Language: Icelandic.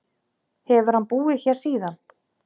Hefur hann búið hér síðan.